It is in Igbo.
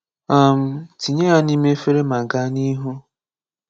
um Tinye ya n'ime efere ma gaa n’ihu.